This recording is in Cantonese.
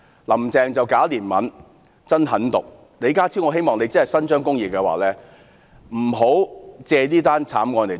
"林鄭"假憐憫、真狠毒，若李家超局長真的要伸張公義，不要借此慘案"過橋"。